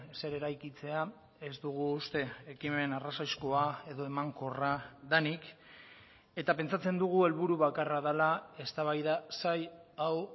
zer eraikitzea ez dugu uste ekimen arrazoizkoa edo emankorra denik eta pentsatzen dugu helburu bakarra dela eztabaida zail hau